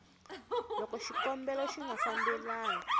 loko xikombelo xi nga fambelani